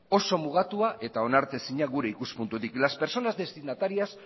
oso mugatua eta onartezina gure ikuspuntutik las personas destinatarias